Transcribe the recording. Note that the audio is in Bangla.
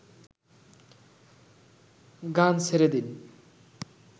গান ছেড়ে দিন